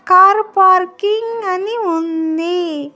Car parking అని ఉంది.